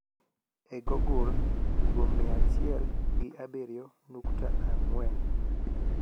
e ggogle tugo mia achiel gi abirio nukta angwen